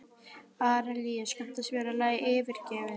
Arilíus, kanntu að spila lagið „Yfirgefinn“?